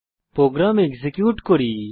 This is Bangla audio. প্রোগ্রাম এক্সিকিউট করি